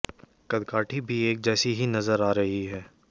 कदकाठी भी एक जैसी ही नजर आ रही है